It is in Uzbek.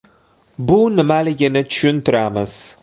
Bu nimaligini tushuntiramiz.